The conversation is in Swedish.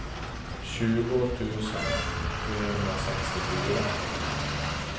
tjugo tusen trehundrasextiofyra